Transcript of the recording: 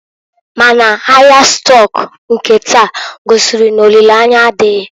Ma n'ahịa stọk nke taa gosiri n'olile anya adịghị.